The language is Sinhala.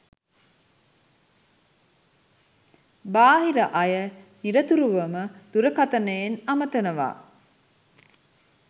බාහිර අය නිරතුරුවම දුරකතනයෙන් අමතනවා